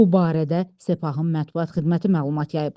Bu barədə Sepahın mətbuat xidməti məlumat yayıb.